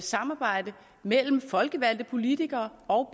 samarbejde mellem de folkevalgte politikere og